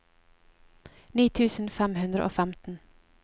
ni tusen fem hundre og femten